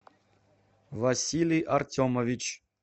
василий артемович